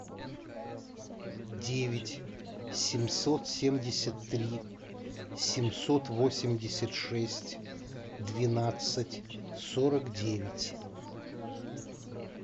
девять семьсот семьдесят три семьсот восемьдесят шесть двенадцать сорок девять